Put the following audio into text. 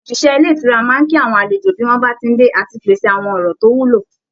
Òṣìṣẹ́ ilé ìtura máa ń kí àwọn àlejò bí wọ́n bá ti ń dé, àti pèsè àwọn ọ̀rọ̀ tó wúlò